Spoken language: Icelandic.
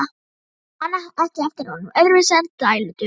Ég man ekki eftir honum öðruvísi en dælduðum.